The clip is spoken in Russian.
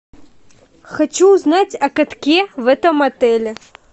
хочу узнать о катке в этом отеле